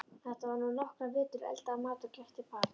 Þar var hún nokkra vetur, eldaði mat og gætti barna.